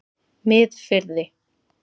Miðfirði